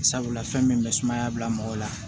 Sabula fɛn min bɛ sumaya bila mɔgɔ la